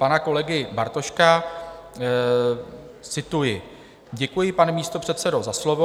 Pan kolega Bartošek - cituji: "Děkuji, pane místopředsedo, za slovo.